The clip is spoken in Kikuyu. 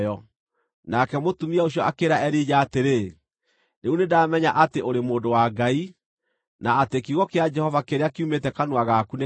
Nake mũtumia ũcio akĩĩra Elija atĩrĩ, “Rĩu nĩndamenya atĩ ũrĩ mũndũ wa Ngai, na atĩ kiugo kĩa Jehova kĩrĩa kiumĩte kanua gaku nĩ kĩa ma.”